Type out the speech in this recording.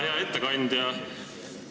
Hea ettekandja!